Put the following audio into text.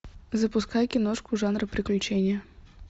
запускай киношку жанра приключения